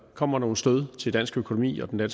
kommer nogle stød til dansk økonomi og den